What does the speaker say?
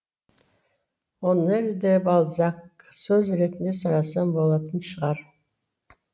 оноре де бальзак сөз ретінде сұрасам болатын шығар